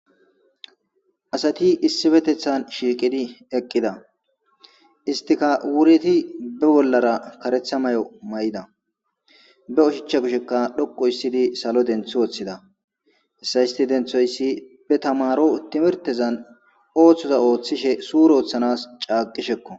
Asati issippetethan shiqidi eqida istika wureti be bollara karatha mayo mayida be oshacha kushshekka dhoqu histtidi salo denththi woththida hessa istti denthoysi be taamari timirtezan ooththiza ooththoza suuren ooththanankko.